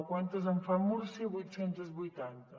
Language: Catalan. quantes en fa múrcia vuit cents i vuitanta